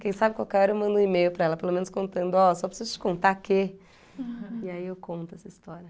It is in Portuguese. Quem sabe qualquer hora eu mando um e-mail para ela, pelo menos contando, ó, só preciso te contar que... E aí eu conto essa história.